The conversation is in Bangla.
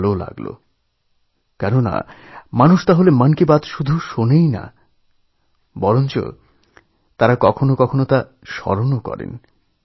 আমার এটা শুনেভালো লাগল যে মানুষ শুধু আমার মন কি বাতশোনেই না তা মনে রাখে মন কি বাতনিয়ে চর্চাও করে